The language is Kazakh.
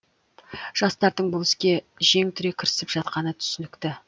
жастардың бұл іске жең түре кірісіп жатқаны түсінікті